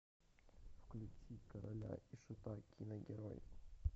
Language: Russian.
включи короля и шута киногерой